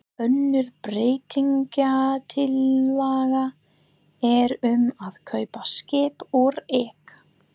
Önnur breytingatillaga er um að kaupa skip úr eik.